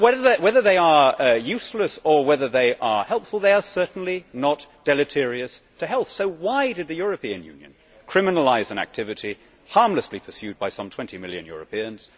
But whether they are useless or whether they are helpful, they are certainly not deleterious to health. So why did the European Union criminalise an activity harmlessly pursued by some 20 million Europeans?